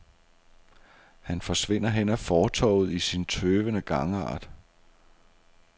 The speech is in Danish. Han forsvinder hen ad fortovet i sin tøvende gangart.